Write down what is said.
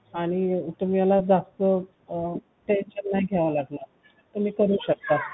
आणि तुम्हाला जास्त tension नाही घ्यावा लागेल तुम्ही करू शकता